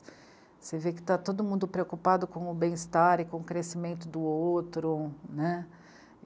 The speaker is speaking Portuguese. Você vê que tá todo mundo preocupado com o bem-estar e com o crescimento do outro, né?